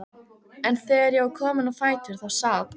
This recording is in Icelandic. En þegar ég var komin á fætur þá sat